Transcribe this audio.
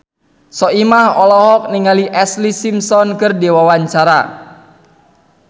Soimah olohok ningali Ashlee Simpson keur diwawancara